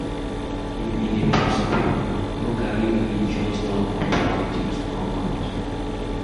If e dey possible no carry religious talk or politics come out